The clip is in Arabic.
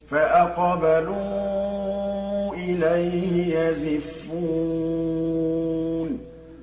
فَأَقْبَلُوا إِلَيْهِ يَزِفُّونَ